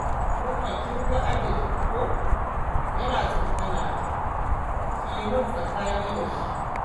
Umma kin ga Adil ko yana tsokana ta, ki yi min tsakani da shi.